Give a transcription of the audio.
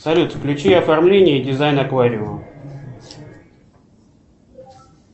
салют включи оформление и дизайн аквариума